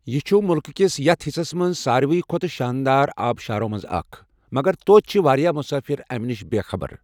یہِ چُھ مُلکہٕ کِس یَتھ حِصس منٛز سارِوٕے کھۄتہٕ شاندار آبہٕ شارو منٛزٕ اَکھ، مگر توتہِ چھِ واریاہ مسٲفِر اَمہِ نِش بےٚخَبر۔